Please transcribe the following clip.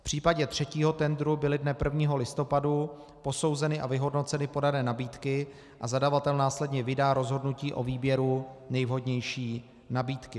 V případě třetího tendru byly dne 1. listopadu posouzeny a vyhodnoceny podané nabídky a zadavatel následně vydá rozhodnutí o výběru nejvhodnější nabídky.